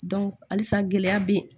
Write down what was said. halisa gɛlɛya bɛ yen